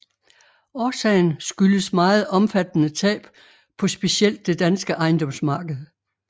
Årsagen skyldes meget omfattende tab på specielt det danske ejendomsmarked